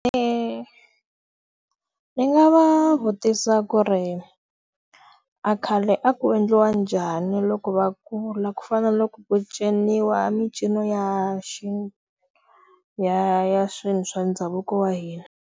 Ndzi nga va vutisa ku ri a khale a ku endliwa njhani loko va kula ku fana na loko ku ciniwa mincino ya ya ya swilo swa ndhavuko wa hina.